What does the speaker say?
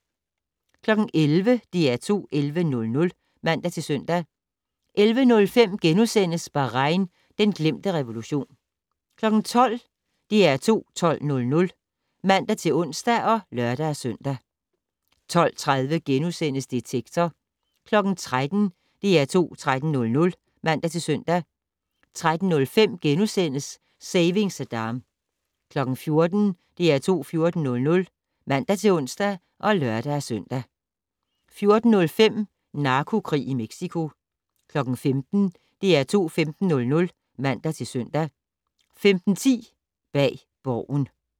11:00: DR2 11:00 (man-søn) 11:05: Bahrain - den glemte revolution * 12:00: DR2 12:00 (man-ons og lør-søn) 12:30: Detektor * 13:00: DR2 13:00 (man-søn) 13:05: Saving Saddam * 14:00: DR2 14:00 (man-ons og lør-søn) 14:05: Narkokrig i Mexico 15:00: DR2 15:00 (man-søn) 15:10: Bag Borgen